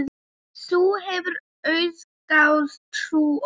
Þú hefur auðgað trú okkar.